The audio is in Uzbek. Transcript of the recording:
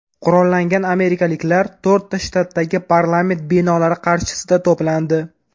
Qurollangan amerikaliklar to‘rtta shtatdagi parlament binolari qarshisida to‘plandi .